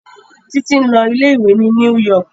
Títí ń lọ ilé ìwé ni New York